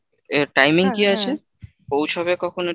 এর timing কি আছে? পৌঁছাবে কখন এটা?